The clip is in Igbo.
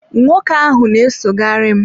nwoke ahụ na-esogharị m.